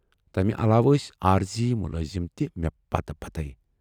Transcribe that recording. تمہِ علاوٕ ٲسۍ عٲرِضی مُلٲزم تہِ مے پَتہٕ پتے۔